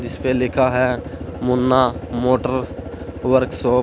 इस पे लिखा है मुन्ना मोटर वर्कशॉप ।